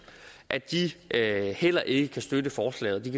at de heller ikke kan støtte forslaget de